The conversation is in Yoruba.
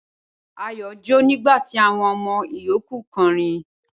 Ayọ̀ jọ́ nígbà tí àwọn ọmọ ìyókù kọrin.